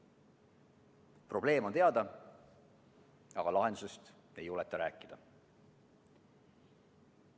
Probleem on teada, aga lahendusest ei julgeta rääkida.